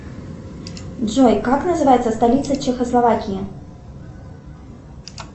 джой как называется столица чехословакии